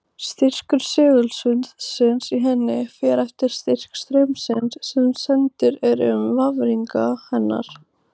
Styrkur segulsviðsins í henni fer eftir styrk straumsins sem sendur er um vafninga hennar.